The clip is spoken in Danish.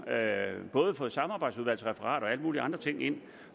både fået samarbejdsudvalgsreferater og alle mulige andre ting ind